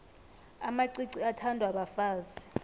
amacici athandwa bafazi